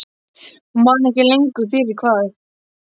Hún man ekki lengur fyrir hvað.